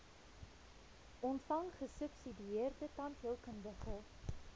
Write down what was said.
ontvang gesubsidieerde tandheelkundige